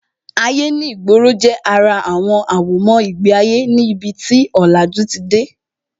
Ayé ní ìgboro jẹ́ ara àwọn àwọ̀mọ́ ìgbé ayé ní ibi tí ọ̀làjú ti dé